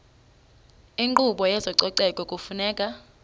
inkqubo yezococeko kufuneka